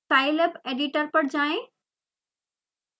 scilab editor पर जाएँ